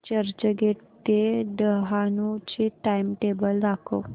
चर्चगेट ते डहाणू चे टाइमटेबल दाखव